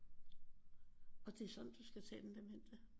Og det er sådan du skal tage den demente